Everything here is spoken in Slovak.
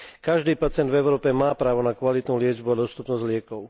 Každý pacient v Európe má právo na kvalitnú liečbu a dostupnosť liekov.